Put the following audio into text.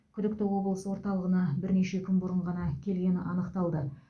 күдікті облыс орталығына бірнеше күн бұрын ғана келгені анықталды